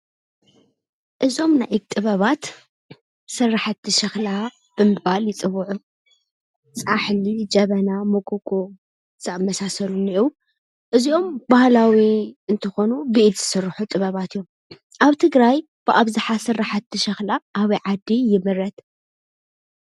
እዞም ናይ ኢድ ጥበባት ስራሓቲ ሸክላ ብምባል ይፅውዑ። ፃሕሊ፣ ጀበና፣ ሞጎጎ ዝኣመሳሰሉ እነአው እዚኦም በህላዊ እንትኾኑ ብኢድ ዝስርሑ ጥበባት እዮም። ኣብ ትግራይ ብኣብዛሓ ስራሐቲ ሸክላ ኣብይ ዓዲ ይምረት ?